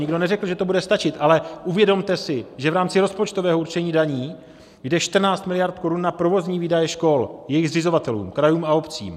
Nikdo neřekl, že to bude stačit, ale uvědomte si, že v rámci rozpočtového určení daní jde 14 miliard korun na provozní výdaje škol jejich zřizovatelům - krajům a obcím.